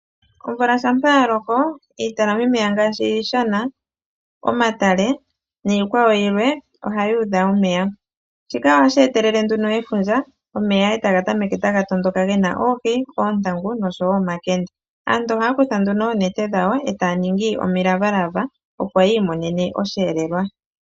Omvula ngele yaloko omahala ngoka haga talama omeya ngaashi omadhiya, oondama nosho tuu ohaguudha omeya. Omeya ngaka oha ga etelele efundja omeya taga matuka gena oohi dhoontangu nosho wo omakende. Aantu ohayakutha oonete dhawo yakwate oohi.